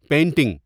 painting